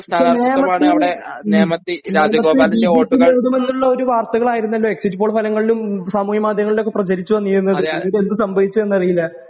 പക്ഷേ നേമത്തിൽ ഉം നേമത്തിൽ ബിജെപി വരുമെന്നുള്ളൊരു വാർത്തകളായിരുന്നല്ലോ എക്സിറ്റ് പോൾ ഫലങ്ങളിലും സാമൂഹ്യ മാധ്യമങ്ങളിലൊക്കെ പ്രചരിച്ചു വന്നിരുന്നത് പിന്നീടെന്ത് സംഭവിച്ചുവെന്നറിയില്ല.